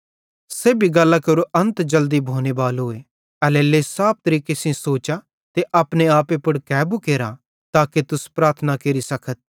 सेब्भी गल्लां केरो अन्त जल्दी भोने बालोए एल्हेरेलेइ साफ तरीके सेइं सोचा ते अपने आपे पुड़ कैबू केरा ताके तुस प्रार्थना केरी सकतथ